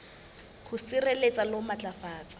ho sireletsa le ho matlafatsa